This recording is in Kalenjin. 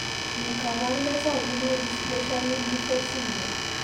Ne kaabarunetap Renal dysplasia limb defects syndrome?